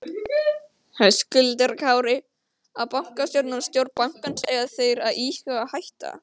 Höskuldur Kári: Á bankastjórinn og stjórn bankans, eiga þeir að íhuga að hætta?